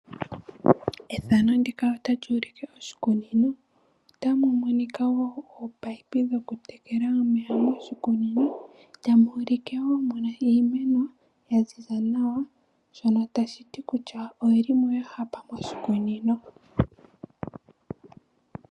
Shika oshikunino. Otamu monika ominino dhokutekela omeya moshikunino. Otamu ulike wo mu na iimeno ya ziza nawa shono tashi ti kutya oyi li mo ya hapa nawa moshikunino.